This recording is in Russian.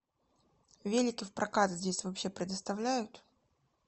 велики в прокат здесь вообще предоставляют